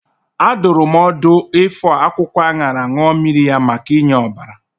A dụrụ m ọdụ ifọ akwụkwọ aṅara ṅụọ mmiri ya maka inye ọbara.